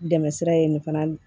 Dɛmɛ sira ye nin fana